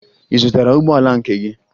Ị zụtara ụgbọala nke gị?